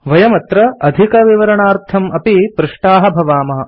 वयमत्र अधिकविवरणार्थम् अपि पृष्टाः भवामः